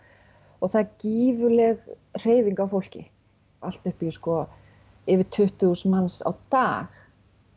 og það er gífurleg hreyfing á fólki allt upp í yfir tuttugu þúsund manns á dag